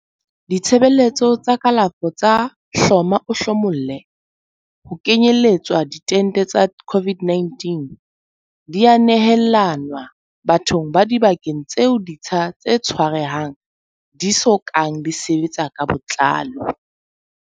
Ditshebeletso tsa kalafo tsa hloma-o-hlomolle, ho kenyeletswa diente tsa COVID-19, di a nehelanwa bathong ba dibakeng tseo ditsha tse tshwarehang di so kang di sebetsa ka botlalo.